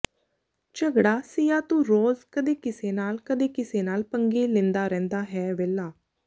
ਝਗੜਾ ਸਿਆ ਤੂੰ ਰੋਜ਼ ਕਦੇ ਕਿਸੇ ਨਾਲ ਕਦੇ ਕਿਸੇ ਨਾਲ ਪੰਗੇ ਲੈਦਾ ਰਹਿਦਾ ਹੈ ਵਿਹਲਾ